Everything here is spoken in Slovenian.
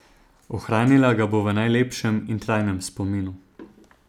Ohranila ga bo v najlepšem in trajnem spominu.